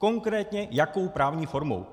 Konkrétně jakou právní formou.